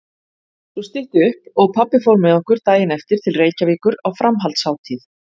Svo stytti upp og pabbi fór með okkur daginn eftir til Reykjavíkur á framhaldshátíð.